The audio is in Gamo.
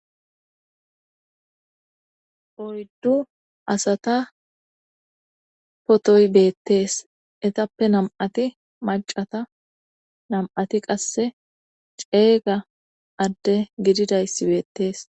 Oyddduasata potoy beettees etappe nam7ati macata nam7ati qasse ceeyga adde gididayssi beettees.